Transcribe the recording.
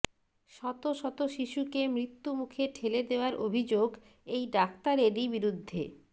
শত শত শিশুকে মৃত্যুমুখে ঠেলে দেওয়ার অভিযোগ এই ডাক্তারেরই বিরুদ্ধে